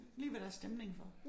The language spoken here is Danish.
Lige hvad der er stemning for